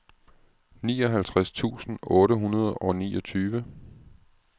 nioghalvtreds tusind otte hundrede og niogtyve